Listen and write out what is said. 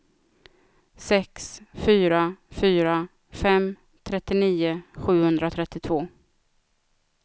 sex fyra fyra fem trettionio sjuhundratrettiotvå